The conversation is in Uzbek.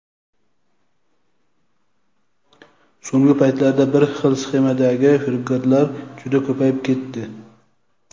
So‘nggi paytlarda bir xil sxemadagi firibgarlar juda ko‘payib ketdi.